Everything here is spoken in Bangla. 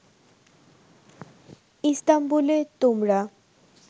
ইস্তাম্বুলে তোমরা